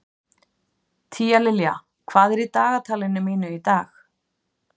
Tíalilja, hvað er í dagatalinu mínu í dag?